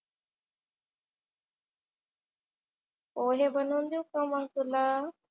पोहे बनवून देऊ का मग तुला?